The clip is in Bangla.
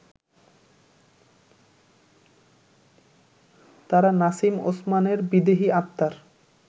তারা নাসিম ওসমানের বিদেহী আত্মার